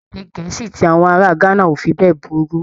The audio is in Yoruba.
Èdè Gẹ̀ẹ́sì ti àwọn ará Ghana ò fi bẹ́ẹ̀ burú.